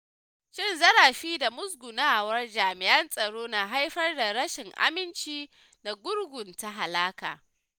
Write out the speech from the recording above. Cin zarafi da musgunawar jami’an tsaro na haifar da rashin aminci da gurgunta alaƙa.